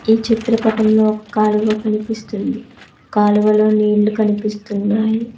ఈ చిత్రపటంలో ఒక కాలువ కనిపిస్తుంది కాలువలో నీళ్లు కనిపిస్తున్నాయి.